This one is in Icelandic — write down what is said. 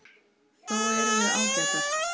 Þó erum við ágætar.